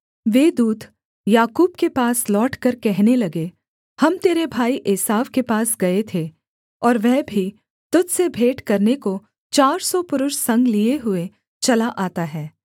वे दूत याकूब के पास लौटकर कहने लगे हम तेरे भाई एसाव के पास गए थे और वह भी तुझ से भेंट करने को चार सौ पुरुष संग लिये हुए चला आता है